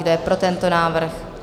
Kdo je pro tento návrh?